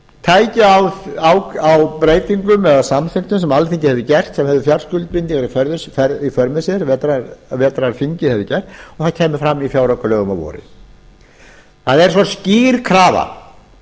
tækju á breytingum eða samþykktum sem alþingi hefur gert sem hefðu fjárskuldbindingar í för með sér vetrarþingið hefði gert og það kæmi fram í fjáraukalögum að vori það er svo skýr krafa